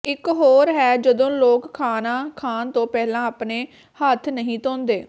ਇਕ ਹੋਰ ਹੈ ਜਦੋਂ ਲੋਕ ਖਾਣਾ ਖਾਣ ਤੋਂ ਪਹਿਲਾਂ ਆਪਣੇ ਹੱਥ ਨਹੀਂ ਧੋਂਦੇ